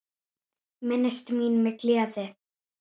Minnist mín með gleði.